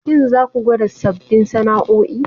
Shin za ku gwada sabbin sana'o'i?